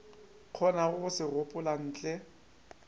kgonago go se gopola ntle